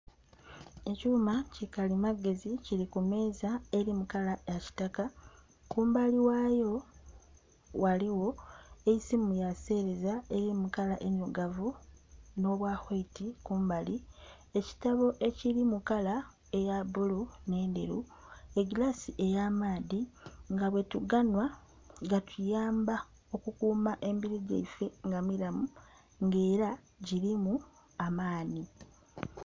Ekyuma ki kalimagezi kili ku meeza eli mu kala ya kitaka. Kumbali ghayo ghaligho eisimu ya sereza eli mu kala endirugavu no bwa waiti kumbali. Ekitabo ekiri mu kala eya bbulu n'enderu. Egilasi ey'amaadhi, nga bwetuganwa gatuyamba okukuuma emibiri gyaife nga milamu nga era gilimu amaani.